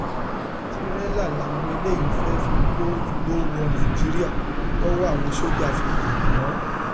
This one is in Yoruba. tìrẹlà làwọn eléyìí fẹẹ fi kó igbó wọ nàìjíríà tọwọ àwọn sójà fi tẹ wọn